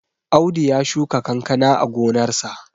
Audu ya shuka kankana a gonarsa